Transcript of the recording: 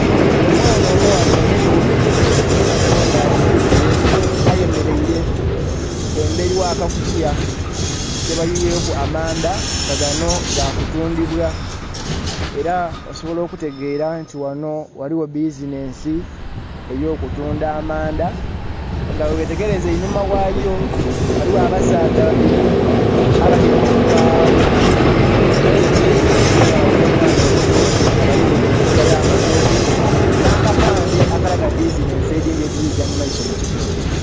Omwana omughala omuto, onho nga ali mu bigere ayemeraile emberi gha kakutiya kebayuyeku amaandha nga ganho ga kutuundhibwa, era osobola okutegeera nti ghanho ghaligho bizinesi eyokutundha amaandha nga wewetegereza einhuma ghayo ghaligho abasaadha babiri abatyaime ku katebe enho nga balinha omwana omuto nga balilainhe enkota ya'matooke nha'kapandhe akalaga bizinesi edhindhi edhirigya mumaiso mu kitundu.